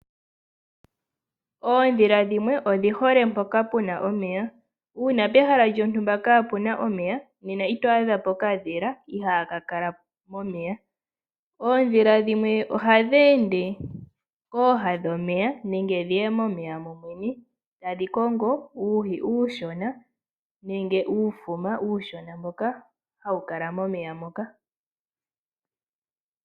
Oondhila dhimwe oshihole mpoka puna omeya. Uuna pehala lyontumba kaapuna omeya, nena ito adhapo okadhila ihaaka kala momeya . Oondhila dhimwe ohadhi ende kooha dhomeya nenge dhiye momeya momwene, tadhi kongo uuhi uushona nenge uufuma uushona mboka hawu kala momeya moka.